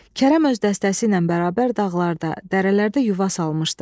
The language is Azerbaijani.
Kərəm öz dəstəsi ilə bərabər dağlarda, dərələrdə yuva salmışdı.